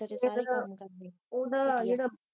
ਜਿਦਣ ਓਦਾਂ ਜਿਹੜਾ